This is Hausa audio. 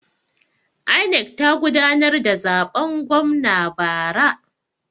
INEC ta gudanar da zaben gwamna bara.